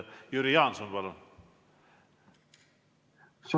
Jüri Jaanson, palun!